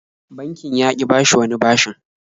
Bankin ya ƙi bashi wani bashin.